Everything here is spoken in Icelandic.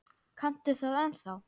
Kanntu það ennþá?